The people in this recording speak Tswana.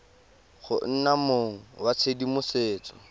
go nna mong wa tshedimosetso